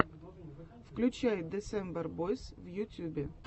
включай десембер бойс в ютюбе